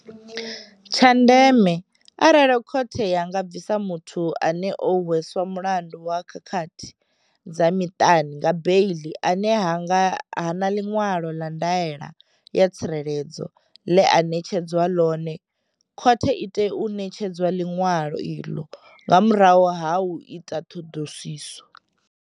Tsha ndeme, arali khothe ya nga bvisa muthu ane o hweswa mulandu wa khakhathi dza miṱani nga beiḽi ane ha na ḽiṅwalo ḽa ndaela ya tsireledzo ḽe a ṋetshedzwa ḽone, khothe i tea u ṋetshedza ḽiṅwalo iḽo nga murahu ha u ita ṱhoḓisiso.